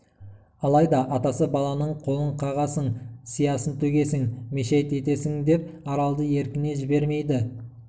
алайда атасы баланың қолын қағасың сиясын төгесің мешайт етесіңдеп аралды еркіне жібермейді